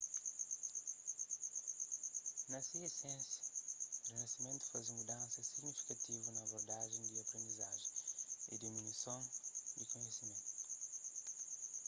na se esensia rinasimentu faze mudansa signifikativu na abordajen di aprendizajen y disiminason di kunhisimentu